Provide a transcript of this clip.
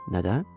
Nədən?